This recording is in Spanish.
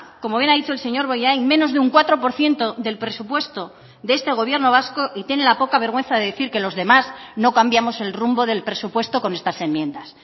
como bien ha dicho el señor bollain menos de un cuatro por ciento del presupuesto de este gobierno vasco y tiene la poca vergüenza de decir que los demás no cambiamos el rumbo del presupuesto con estas enmiendas